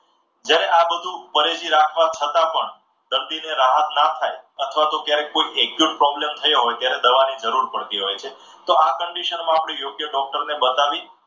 જ્યારે આ બધું પરેજી રાખવા છતાં પણ દર્દીને રાહત ન થાય અથવા તો ક્યારેક કોઈ exact problem થયો હોય ત્યારે દવાની જરૂર પડતી હોય છે. તો આ condition માં આપણે યોગ્ય ડોક્ટરને બતાવી,